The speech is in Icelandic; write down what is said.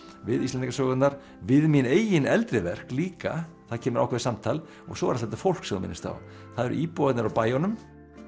við Íslendingasögurnar við mín eigin eldri verk líka það kemur ákveðið samtal og svo allt þetta fólk sem þú minnist á það eru íbúarnir á bæjunum